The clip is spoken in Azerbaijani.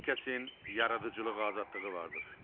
Hər kəsin yaradıcılıq azadlığı vardır.